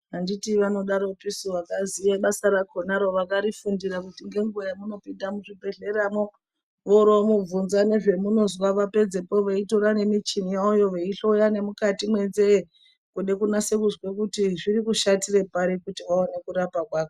Handiti vanodaropisu vakaziye basa rakhonaro vakarifundira kuti ngenguva yamunopinda muzvibhedhleramwo voromuvhunza nezvamunozwa vapedzezvo veitora nemichini yavoyo veivheneka nemukati mwenzee kuda kunasa kuzwa kuti zviri kushatira pari kuti vanase kurapa kwakhona.